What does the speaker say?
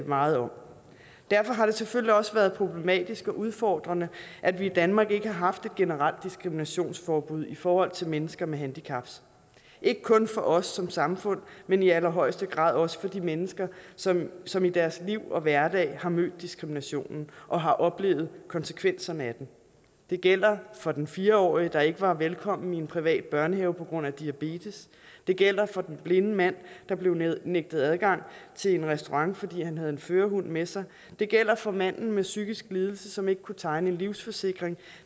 meget om derfor har det selvfølgelig også været problematisk og udfordrende at vi i danmark ikke har haft et generelt diskriminationsforbud i forhold til mennesker med handicaps ikke kun for os som samfund men i allerhøjeste grad også for de mennesker som som i deres liv og hverdag har mødt diskriminationen og har oplevet konsekvenserne af den det gælder for den fire årige der ikke var velkommen i en privat børnehave på grund af diabetes det gælder for den blinde mand der blev nægtet adgang til en restaurant fordi han havde en førerhund med sig det gælder for manden med en psykisk lidelse som ikke kunne tegne en livsforsikring